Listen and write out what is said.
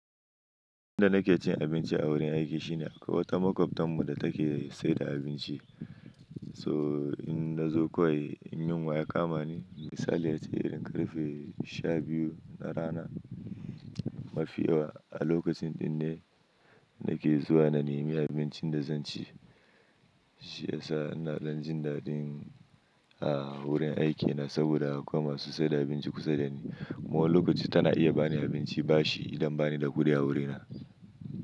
Inda nake cin abinci a wurin aiki shine a kwai wata maƙwabtanmu da take saida abinci. So in nazo kawai in min waya kama ni, misali ya ce irin ƙarfe sha biyu na rana mafiya, a lokacin ne nake zuwa na nemi abincin da zan ci. Shi yasa ina dan jin daɗin a wurin aikina saboda akwai masu saida abinci kusa dani. Ma wani lokaci tana iya bani abinci bashi idan bani da kuɗi a wurina.